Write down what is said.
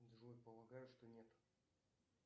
джой полагаю что нету